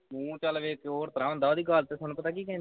ਮੂੰਹ ਚਲ ਵੇਖ ਕੇ ਹੋਰ ਤਰ੍ਹਾਂ ਹੁੰਦਾ ਹੀ ਉਸ ਦੀ ਗੱਲ ਸੁਣ ਖਤਾ ਕੀ ਕਹਿੰਦੀ ਉਹ